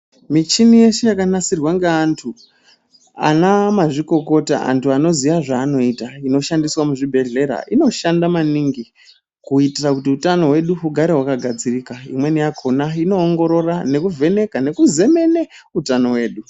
Michini yese yakanasirwa ngeantu ana mazvikokota ,antu anoziva zvavanoita inoshandiswa muzvibhlehlera inoshanda maningi kuitira kuti utano hwedu ugare wakagadzirika imweni yakona ino ongoroora nekuvheneka nekuzemene utano hwedu.